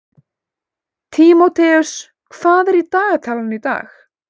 Tímóteus, hvað er í dagatalinu í dag?